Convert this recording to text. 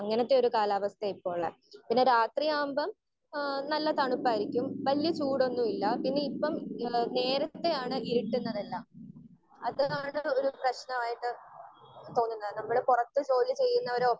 Speaker 1 അങ്ങനത്തെ ഒരു കാലാവസ്ഥയാണ് ഇപ്പൊ ഉള്ളേ. പിന്നെ രാത്രി ആകുമ്പം ഏഹ് നല്ല തണുപ്പായിരിക്കും. വല്യേ ചൂടൊന്നും ഇല്ല പിന്നെ ഇപ്പം ഏഹ് നേരത്തെയാണ് ഇരുട്ടുന്നതെല്ലാം അത്ര മാത്രോള്ളു ഒരു പ്രശ്നമായിട്ട് തോന്നുന്നത്. നമ്മള് പുറത്ത് ജോലി ചെയ്യുന്നവരോ